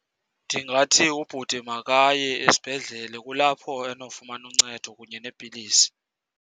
Ndingathi ubhuti makaye esibhedlele kulapho anofumana uncedo kunye neepilisi.